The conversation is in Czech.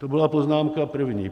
To byla poznámka první.